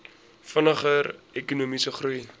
vinniger ekonomiese groei